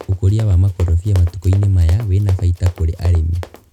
Ũkũria wa makorobia matukũ -inĩ maya wĩna baita kũrĩ arĩmi.